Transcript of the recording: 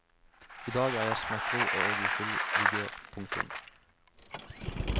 I dag er jeg smertefri og i full vigør. punktum